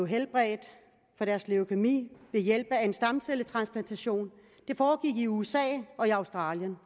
helbredt for deres leukæmi ved hjælp af en stamcelletransplantation det foregik i usa og i australien